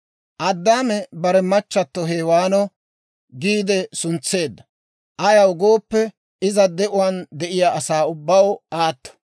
Addaame bare machchatto Hewaano giide suntseedda; ayaw gooppe, iza de'uwaan de'iyaa asaa ubbaw aatto.